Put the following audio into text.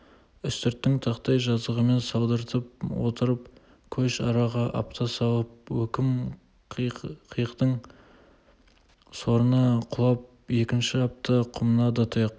үстірттің тақтай жазығымен салдыртып отырып көш араға апта салып өкім-қиықтың сорына құлап екінші апта құмына да тұяқ